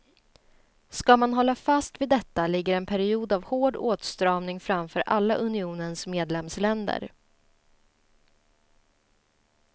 Ska man hålla fast vid detta ligger en period av hård åtstramning framför alla unionens medlemsländer.